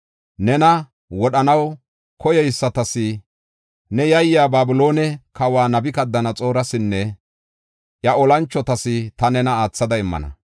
Nena wodhanaw koyeysatas, ne yayiya Babiloone kawa Nabukadanaxoorasinne iya olanchotas ta nena aathada immana.